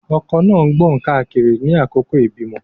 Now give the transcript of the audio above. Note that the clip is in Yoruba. Ọkọ náà ń gbọ̀n káàkiri ní àkókò ìbímọ.